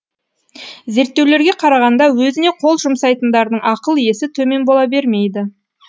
зерттеулерге қарағанда өзіне қол жұмсайтындардың ақыл есі төмен бола бермейді